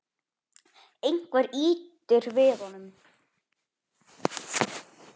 Einhver ýtir við honum.